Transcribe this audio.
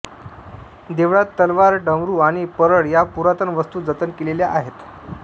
देवळात तलवार डमरू आणि परळ या पुरातन वस्तू जतन केलेल्या आहेत